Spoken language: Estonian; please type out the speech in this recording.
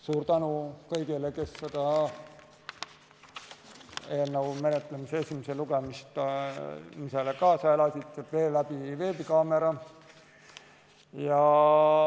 Suur tänu kõigile, kes selle eelnõu esimesele lugemisele kaasa elasid veebikaamera abil!